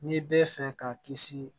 N'i bɛ fɛ ka kisi